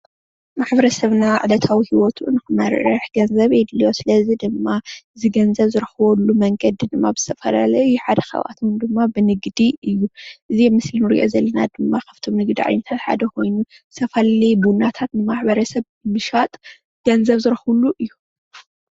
ማሕበረሰብና ዕለታዊ ሂወቱ ንክመርሕ ገንዘብ የድልዮ፡፡ ስለዚ ድማ እዚ ገንዘብ ዝረክበሉ መንገዲ ድማ ብዝተፈለለዩ ሓደ ካብኣቶም ድማ ብንግዲ እዩ፡፡ እዚ ምስ እቲ እንሪኦ ዘለና ድማ ካብቶም ንግድታት ዓይነት ሓደ ኮይኑ ዝተፈለለዩ ቡናታት ንማሕበረሰብ ብምሻጥ ገንዘብ ዝረክብሉ እዩ፡፡